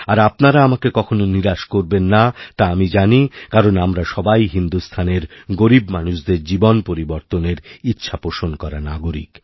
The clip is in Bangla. আর আপনারা আমাকে কখনও নিরাশ করবেন নাতা আমি জানি কারণ আমরা সবাই হিন্দুস্থানের গরীব মানুষদের জীবন পরিবর্তনের ইচ্ছাপোষণ করা নাগরিক